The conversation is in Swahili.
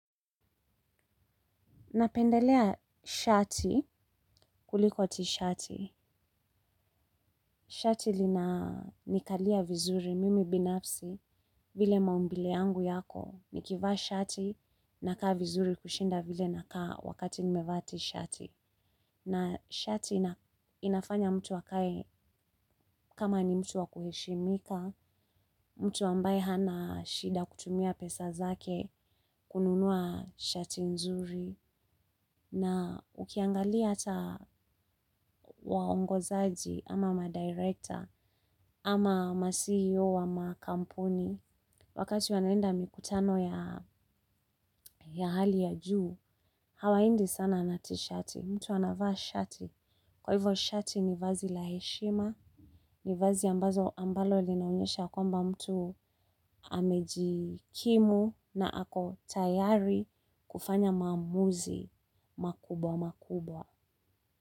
Napendelea shati kuliko tishati. Shati linanikalia vizuri mimi binafsi vile maumbile yangu yako. Nikivaa shati nakaa vizuri kushinda vile nakaa wakati nimevaa tishati. Na shati inafanya mtu akae kama ni mtu wa kuheshimika, mtu ambaye hana shida kutumia pesa zake kununua shati nzuri. Na ukiangalia hata waongozaji ama ma-director ama ma-CEO ama kampuni. Wakati wanaenda mikutano ya hali ya juu, hawaendi sana na tishati. Mtu anavaa shati. Kwa hivo shati ni vazi la heshima. Ni vazi ambazo ambalo linaonyesha kwamba mtu amejikimu na ako tayari kufanya maamuzi makubwa makubwa.